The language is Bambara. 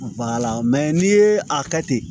n'i ye a kɛ ten